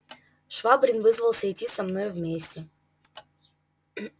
швабрин вызвался идти со мною вместе